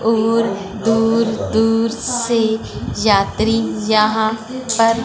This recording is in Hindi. और दूर दूर से यात्री यहां पर--